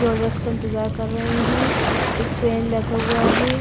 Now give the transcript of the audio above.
Orders का इंतजार कर रहे हैं एक फैन लगा हुआ है।